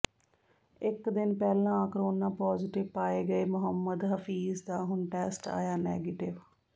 ਇੱਕ ਦਿਨ ਪਹਿਲਾਂ ਕੋਰੋਨਾ ਪੌਜੇਟਿਵ ਪਾਏ ਗਏ ਮੁਹੰਮਦ ਹਫੀਜ਼ ਦਾ ਹੁਣ ਟੈਸਟ ਆਇਆ ਨੈਗੇਟਿਵ